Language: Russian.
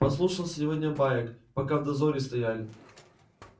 послушал сегодня баек пока в дозоре стояли